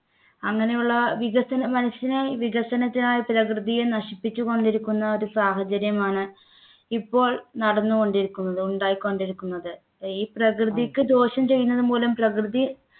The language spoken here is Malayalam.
അങ്ങനെയുള്ള വികസനം മനുഷ്യനെ വികസനത്തിനായി പ്രകൃതിയെ നശിപ്പിച്ചുകൊണ്ടിരിക്കുന്ന ഒരു സാഹചര്യമാണ് ഇപ്പോൾ നടന്നുകൊണ്ടിരിക്കുന്നത് ഉണ്ടായിക്കൊണ്ടിരിക്കുന്നത് ഈ പ്രകൃതിക്ക് ദോഷം ചെയ്യുന്നതുമൂലം പ്രകൃതി